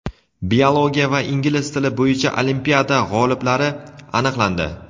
biologiya va ingliz tili bo‘yicha olimpiada g‘oliblari aniqlandi.